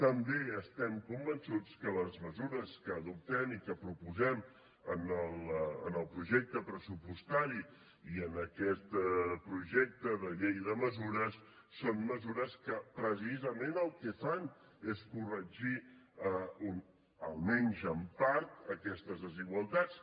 també estem absolutament convençuts que les mesures que adoptem i que proposem en el projecte pressupostari i en aquest projecte de llei de mesures són mesures que precisament el que fan és corregir almenys en part aquestes desigualtats